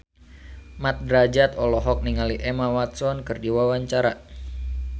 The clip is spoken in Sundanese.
Mat Drajat olohok ningali Emma Watson keur diwawancara